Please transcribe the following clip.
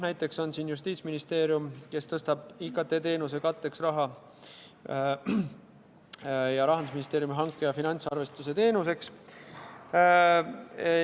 Näiteks on Justiitsministeerium, kes tõstab raha IKT-teenuse katteks ja Rahandusministeeriumi hanke- ja finantsarvestuse teenuseks.